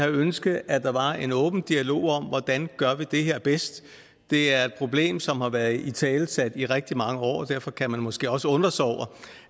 ønsket at der var en åben dialog om hvordan vi gør det her bedst det er et problem som har været italesat i rigtig mange år og derfor kan man måske også undre sig over